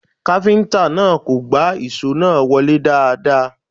Kápíntà náà kò gbá ìṣó náà wọlé dáadáa